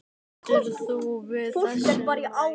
Stendur þú við þessi ummæli?